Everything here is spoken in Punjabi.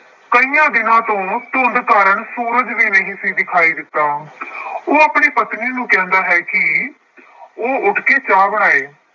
ਕਈਆਂ ਦਿਨਾਂ ਤੋਂ ਧੁੰਦ ਕਾਰਨ ਸੂਰਜ ਵੀ ਨਹੀਂ ਸੀ ਦਿਖਾਈ ਦਿੱਤਾ, ਉਹ ਆਪਣੀ ਪਤਨੀ ਨੂੰ ਕਹਿੰਦਾ ਹੈ ਕਿ ਉਹ ਉੱਠ ਕੇ ਚਾਹ ਬਣਾਏ।